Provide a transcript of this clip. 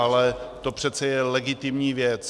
Ale to přece je legitimní věc.